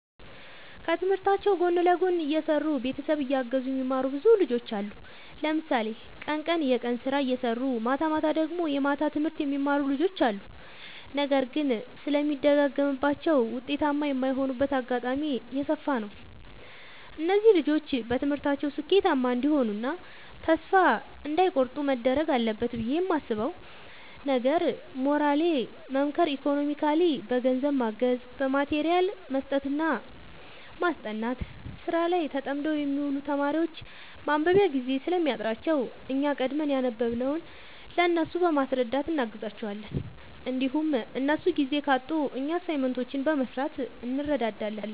ከትምህርታቸው ጎን ለጎን እየሰሩ ቤተሰብ እያገዙ የሚማሩ ብዙ ልጆች አሉ። ለምሳሌ ቀን ቀን የቀን ስራ እየሰሩ ማታማታ ደግሞ የማታ ትምህርት የሚማሩ ልጆች አሉ። ነገር ግን ስለሚደግማቸው ውጤታማ የማይሆኑበት አጋጣሚ የሰፋ ነው። እነዚህ ልጆች በትምህርታቸው ስኬታማ እንዲሆኑ እና ተስፋ እንዳይ ቆርጡ መደረግ አለበት ብዬ የማስበው ነገር ሞራሊ መምከር ኢኮኖሚካሊ በገንዘብ ማገዝ በማቴሪያል መስጠትና ማስጠናት። ስራ ላይ ተጠምደው የሚውሉ ተማሪዎች ማንበቢያ ጊዜ ስለሚያጥራቸው እኛ ቀድመን ያነበብንውን ለእነሱ በማስረዳት እናግዛቸዋለን እንዲሁም እነሱ ጊዜ ካጡ እኛ አሳይመንቶችን በመስራት እንረዳዳለን